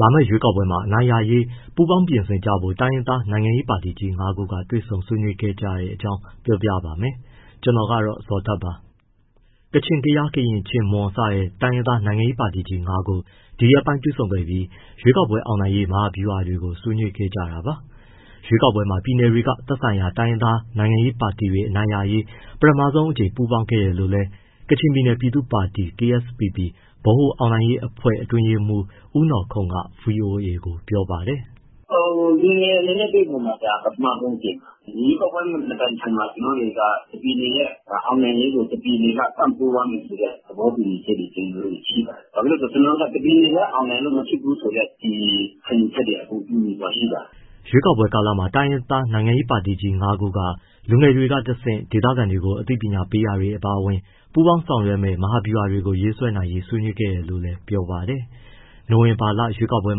လာမယ့်ရွေးကောက်ပွဲမှာ အနိုင်ရရေး ပူးပေါင်းပြင်ဆင်ကြဖို့ တိုင်းရင်းသား နိုင်ငံရေးပါတီကြီး ၅ ခု တွေ့ဆုံဆွေးနွေးကြတဲ့အကြောင်းကို ဗွီအိုအေမြန်မာပိုင်းသတင်းထောက် ကိုဇော်ထက်က ပြောပြပေးပါမယ်။ ကချင်၊ ကယား၊ ကရင်၊ ချင်း၊ မွန် စတဲ့ တိုင်းရင်းသား နိုင်ငံရေးပါတီကြီး ၅ ခု ဒီရက်ပိုင်း တွေ့ဆုံခဲ့ပြီး ရွေးကောက်ပွဲအောင်နိုင်ရေး မဟာဗျုဟာတွေကို ဆွေးနွေးခဲ့ကြတာပါ။ ရွေးကောက်ပွဲမှာ ပြည်နယ်တွေက သက်ဆိုင်ရာ တိုင်းရင်းသားနိုင်ငံရေး ပါတီတွေ အနိုင်ရရေး ပထမဆုံးအကြိမ် ပူးပေါင်းမှုအဖြစ်နဲ့လည်း ကချင်ပြည်နယ် ပြည်သူ့ပါတီ KSPP ဗဟိုအောင်နိုင်ရေးအဖွဲ့ အတွင်းရေးမှူး ဦးနော်ခုန့်က ဗွီအိုအေကို ပြောပြပါတယ်။ “ပြည်နယ်အနေနဲ့ တွေ့ဆုံတာ ဒါပထမဆုံးအကြိမ်ပါ။ ရွေးကောက်ပွဲမတိုင်ခင်မှာ ကျနော်တို့တွေက တပြည်နယ်ရဲ့ အောင်နိုင်ရေးကို တပြည်နယ်က ပံ့ပိုးရမယ်ဆိုတဲ့ သဘောတူညီချက်တွေ ကျနော်တို့ ရှိပါတယ်။ ဘာဖြစ်လို့လဲဆိုတော့ ကျနော်တို့က တပြည်နယ်တည်း အောင်နိုင်လို့ မဖြစ်ဘူးဆိုတဲ့ ခံယူချက်တွေ တူညီစွာရှိပါတယ်။” ရွေးကောက်ပွဲကာလမှာ တိုင်းရင်းသားနိုင်ငံရေး ပါတီကြီး ၅ ခုက လူငယ်တွေကတဆင့် ဒေသခံတွေကို အသိပညာပေးတာတွေ အပါအဝင် ပူးပေါင်းဆောင်ရွက်မယ့် မဟာဗျုဟာတွေကို ရေးဆွဲနိုင်ငံရေး ဆွေးနွေးခဲ့တယ်လို့လည်း ပြောပါတယ်။ နိုဝင်ဘာရွေးကောက်ပွဲ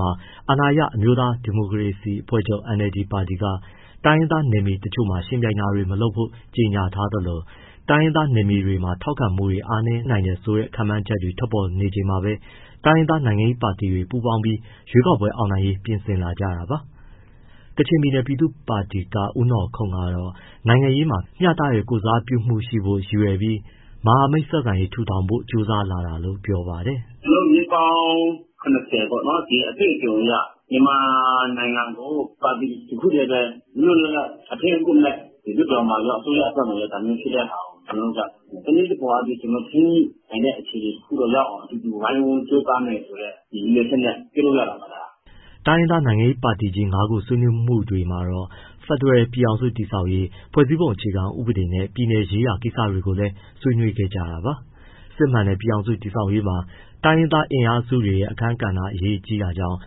မှာ အာဏာရ အမျိုးသားဒီမိုကရေစီ အဖွဲ့ချုပ် ပါတီက တိုင်းရင်းသားနယ်မြေတချို့မှာ ယှဉ်ပြိုင်တာတွေ မလုပ်ဖို့ ကြေညာထားသလို၊ တိုင်းရင်းသား နယ်မြေတွေမှာ ထောက်ခံမှုတွေ အားနည်းနိုင်တယ်ဆိုတဲ့ ခန့်မှန်းချက်တွေ ထွက်ပေါ်နေချိန်မှာပဲ တိုင်းရင်းသား နိုင်ငံရေးပါတီတွေ ပူးပေါင်းပြီး ရွေးကောက်ပွဲ အောင်နိုင်ရေး ပြင်ဆင်လာကြတာပါ။ ကချင်ပြည်နယ် ပြည်သူ့ပါတီက ဦးနော်ခုန့်ကတော့ နိုင်ငံရေးမှာ မျှတတဲ့ ကိုယ်စားပြုမှုရှိဖို့ ရည်ရွယ်ပြီး မဟာမိတ်ဆက်ဆံရေး ထူထောင်ဖို့ ကြိုးစားတာလို့ ပြောပါတယ်။ “ကျနော်တို့ နှစ်ပေါင်း ၇၀ အတွေ့အကြုံအရ မြန်မာနိုင်ငံကို ပါတီတခုတည်းပဲ လွတ်လွတ်လပ်လပ် အထိန်းအကွပ်မဲ့ လွှတ်တော်မှာရော၊ အစိုးရအဖွဲ့မှာရော ကျနော်တို့က တနည်းတဖုံအားဖြင့် ထိန်းညှိနှိုင်းတဲ့ အခြေအနေ တခုကိုရောက်အောင် ဝိုင်းဝန်းကြိုးစားမယ်ဆိုတဲ့ ရည်ရွယ်ချက်နဲ့ ပြုလုပ်ရတာပါ။” တိုင်းရင်းသား နိုင်ငံရေးပါတီကြီး ၅ ခု ဆွေးနွေးမှုတွေမှာတော့ ဖက်ဒရယ်ပြည်ထောင်စု တည်ဆောက်ရေး၊ ဖွဲ့စည်းပုံအခြေခံဥပဒေနဲ့ ပြည်နယ်ရေးရာ ကိစ္စတွေကိုလည်း ဆွေးနွေးခဲ့ကြတာပါ။ စစ်မှန်တဲ့ ပြည်ထောင်စု တည်ဆောက်ရေးမှာ တိုင်းရင်းသား အင်အားစုတွေရဲ့ အခန်းကဏ္ဍ အရေးကြီးတာကြောင့်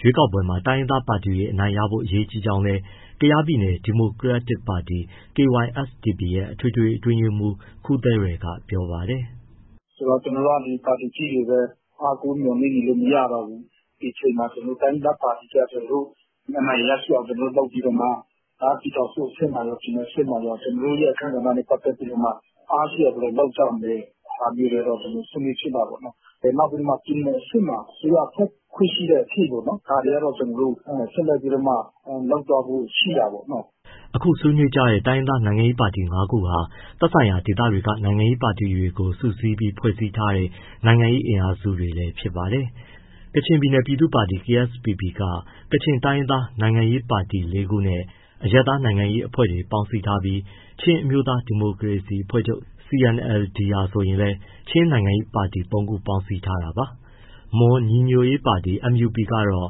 ရွေးကောက်ပွဲမှာ တိုင်းရင်းသားပါတီတွေ အနိုင်ရဖို့ အရေးကြီးကြောင်းလည်း ကယားပြည်နယ် ဒီမိုကရက်တစ်ပါတီ KySDP ရဲ့ အထွေထွေအတွင်းရေးမှူး ခူးသဲရယ်က ပြောပါတယ်။ “ဆိုတော့ ကျနော်တို့က ပါတီကြီးတွေကိုပဲ အားကိုးပြီး နေနေလို့တော့ မရတော့ဘူး။ ဒီအချိန်မှာ တိုင်းရင်းသားပါတီတွေက အနိုင်ရရှိအောင် လုပ်ပြီးတော့မှ ပြည်ထောင်စုအဆင့်မှာရော၊ ပြည်နယ် အဆင့်မှာရော ကျနော်တို့ရဲ့ အခန်းကဏ္ဍနဲ့ ပတ်သက်ပြီးတော့မှ အားရှိအောင်ဘယ်လို လုပ်ကြမလဲဆိုတဲ့ ဟာမျိုး ဆွေးနွေးဖြစ်တာပေါ့။ နောက်ပြီး ပြည်နယ်အဆင့်မှာ အစိုးရဖွဲ့ခွင့် ရှိတဲ့အထိပေါ့နော် ဒါတွေက ဆက်လက်ပြီးတော့မှ လုပ်သွားဖို့ ရှိတာပေါ့နော်။” အခုဆွေးနွေးကြတဲ့ တိုင်းရင်းသားနိုင်ငံရေး ပါတီ ၅ ခုဟာ သက်ဆိုင်ရာ ဒေသတွေက နိုင်ငံရေးပါတီတွေကို စုစည်းပြီးဖွဲ့စည်းထားကြတဲ့ နိုင်ငံရေးအင်အားစုတွေလည်း ဖြစ်ပါတယ်။ ကချင်ပြည်နယ် ပြည်သူ့ပါတီ KSPP ကချင်တိုင်းရင်းသား နိုင်ငံရေးပါတီ ၄ ခုနဲ့ အရပ်သားနိုင်ငံရေးအဖွဲ့တွေ ပေါင်းစည်းထားပြီး၊ ချင်းအမျိုးသား ဒီမိုကရေစီအဖွဲ့ချုပ် CNLD ပါတီဟာ ဆိုရင်လည်း ချင်း နိုင်ငံရေးပါတီ ၃ ခုပေါင်းစည်းထားတာပါ။ မွန်ညီညွတ်ရေးပါတီ MUP ကတော့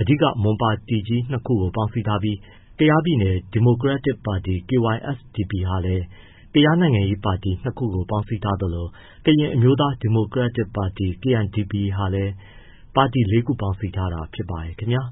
အဓိက မွန်ပါတီကြီး ၂ ပေါင်းစည်းထာပြီး ကယားပြည်နယ် ဒီမိုကရက်တစ်ပါတီ KySDP ဟာလည်း ကယားနိုင်ငံရေးပါတီ ၂ ခု ပေါင်းစည်းထားသလို၊ ကရင်အမျိုးသား ဒီမိုကရက်တစ်ပါတီ KNDP ပါတီကလည်း ပါတီ ၄ ခု ပေါင်းစည်းထားတာ ဖြစ်ပါတယ်ခင်ဗျာ